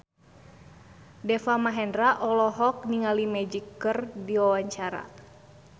Deva Mahendra olohok ningali Magic keur diwawancara